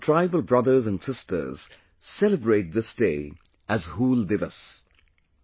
Our tribal brothers and sisters celebrate this day as ‘Hool Diwas’